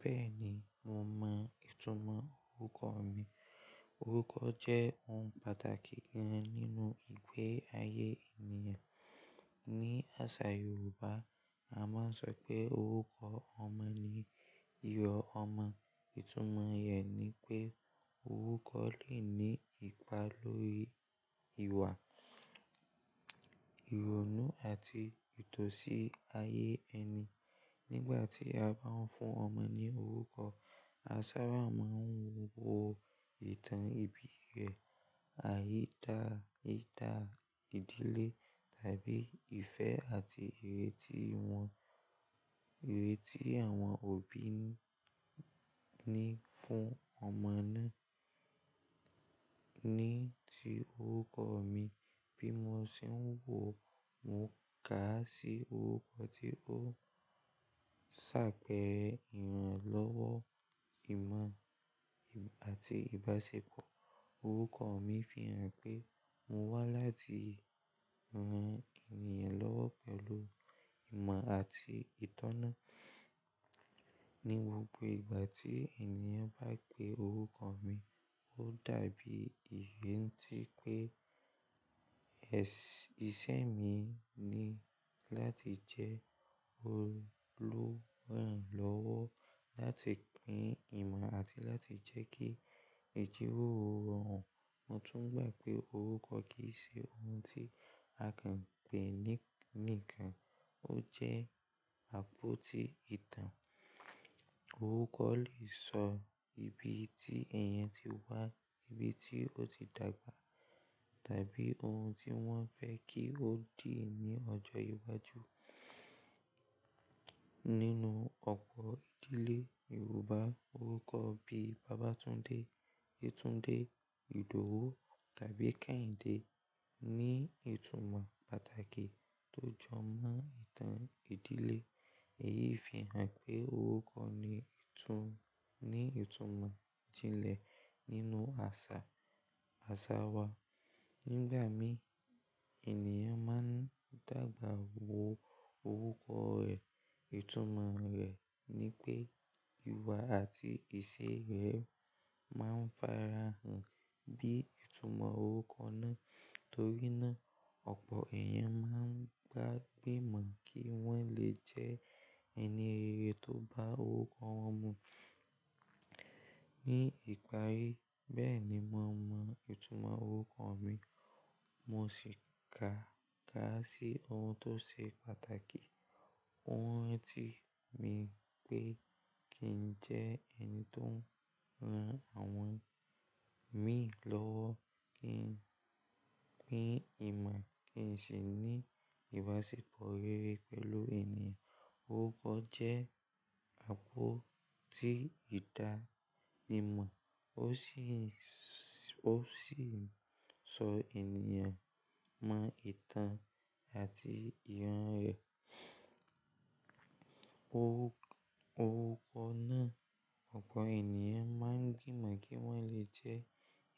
Bẹ́ẹ̀ni, mo mọ ìtumọ̀ orúkọ mi. Orúkọ jẹ́ ohun pàtàkì gan-an nínú ìgbè ayé ènìyàn. Ni àṣà Yorùbá, a máa ń sọ pé orúkọ ọmọ ni irò ọmọ. Ìtumọ̀ rẹ̀ ni pé orúkọ lè ní ipa lórí ìwà, ìrònú àti ìtọ̀sí ayé ẹni. Nígbà tí a bá ń fún ọmọ ní orúkọ, a sábà máa ń wo ìtàn ìbí rẹ̀, àyíká ìdílé tàbí ìfẹ́ àti ìrètí wọn, ìrètí àwọn òbí ni fún ọmọ náà. Ní ti orúkọ mi, bí mo ṣe ń wò ó, mo kà á sí orúkọ tí ó ń ṣàpẹ́re iranlọ́wọ́ ìmọ̀ àti ìbáṣepọ̀. Orúkọ mi fi hàn pé mo wá láti ran ènìyàn lọ́wọ́ pẹ̀lú ìmọ̀ àti ìtọ́ná. Ni gbogbo ìgbà tí ènìyàn bá pe orúkọ mi, ó dàbí ìrántí pé iṣẹ́ mi ni láti jẹ́ olùrànlọ́wọ́ láti gbin ìmọ̀ àti láti jẹ́ kí ìjíròrò rọrùn. Mo tún gbà pé orúkọ kì í ṣe ohun tí a kàn pè ní kan. Ó jẹ́ àpótí ìtàn. Orúkọ lè sọ ibi tí èèyàn ti wá, ibi tí ó ti dàgbà tàbí ohun tí wọ́n fẹ́ kí ó di ní ọjọ́ iwájú. Nínú ọ̀pọ̀ ìdílé Yorùbá, orúkọ bíi Babatunde, Yetunde, Idowu tàbí Kehinde ní ìtumọ̀ pàtàkì tó jọ mọ ìtàn ìdílé. Èyí fi hàn pé orúkọ ní ìtumọ̀ ìjínlé nínú àṣà wa. Nígbà mì, ènìyàn máa ń dàgbà wo orúkọ rẹ̀. Ìtumọ̀ rẹ̀ ni pé ìwà àti ìṣe rẹ̀ máa ń farahàn bí ìtumọ̀ orúkọ náà. Nítorí nàa ọ̀pọ̀ èèyàn máa ń gbàgbé mọ̀ kí wọ́n lè jẹ́ ẹni rere tó bá orúkọ wọn mu ní ìparí. Bẹ́ẹ̀ ni mo mọ ìtumọ̀ orúkọ mi. Mo sì ká a sí ohun tó ṣe pàtàkì. Ohun ti mi pé kí n jẹ́ ẹni tó ń ran àwọn mìíràn lọ́wọ́, kí n gbin ìmọ̀, kí n sì ní ìbáṣepọ̀ rere pẹ̀lú ènìyàn. Orúkọ jẹ́ àpótí ìdánimọ̀ o si Ó sì ń sọ ènìyàn mọ ìtàn àti ìran rẹ̀. Orúkọ náà, ọ̀pọ̀ ènìyàn máa ń gbimọ̀ kí wọ́n lè jẹ́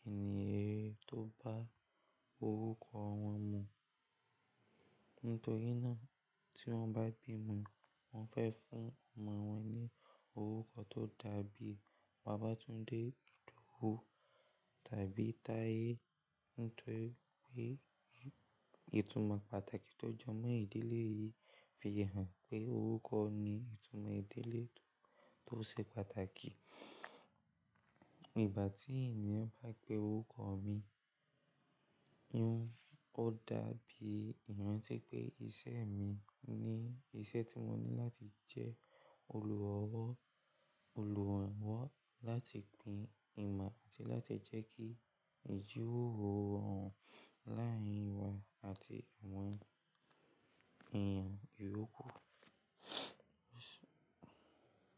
ẹni rere tó bá orúkọ wọn mu. Nítorínà tí wọ́n bá bí wọn, wọ́n fẹ́ fún ọmọ wọn ní orúkọ tó dàbí Babatunde, Idowu tàbí Taye. Nítorí pé ìtumọ̀ pàtàkì tó jọ mọ ìdílé yìí fi hàn pé orúkọ ní ìtumọ̀ ìdílé tó ṣe pàtàkì. Ìgbà tí ènìyàn bá pe orúkọ mi, ó dàbí ìrántí pé iṣẹ́ mi ni iṣẹ́ tí mo ní láti jẹ́ olùrànlọ́wọ́, olùrànlọ́wọ́ láti gbin ìmọ̀ àti láti jẹ́ kí ìjíròrò rọrùn láàárín wa àti àwọn ènìyàn mìíràn.